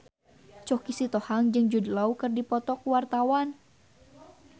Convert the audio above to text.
Choky Sitohang jeung Jude Law keur dipoto ku wartawan